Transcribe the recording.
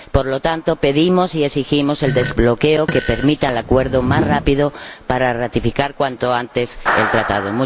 Por lo tanto, pedimos y exigimos el desbloqueo que permita el acuerdo más rápido para ratificar cuanto antes el Tratado.